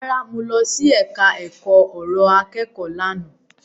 Rárá, mo lọ sí ẹka ọ̀rọ̀ akẹ́kọ̀ọ́ lánàá.